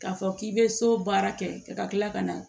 K'a fɔ k'i bɛ so baara kɛ ka tila ka na